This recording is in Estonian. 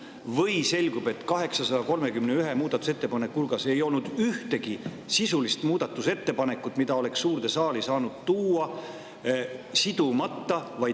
Või selgub, et 831 muudatusettepaneku hulgas ei olnud ühtegi sisulist muudatusettepanekut, mida oleks suurde saali saanud tuua sidumata?